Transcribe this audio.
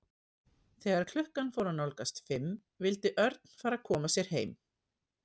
Þegar klukkan fór að nálgast fimm vildi Örn fara að koma sér heim.